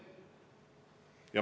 Allikaks on Statistikaamet.